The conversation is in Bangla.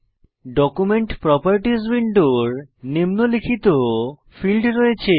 ডকুমেন্ট প্রপার্টিস উইন্ডোর নিম্নলিখিত ফীল্ড রয়েছে